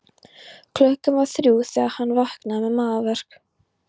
Klukkan var þrjú þegar hann vaknaði með magaverk.